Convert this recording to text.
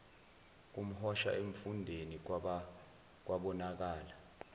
komhosha emfundeni kwabonakala